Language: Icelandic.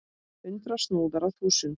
Hundrað snúðar á þúsund!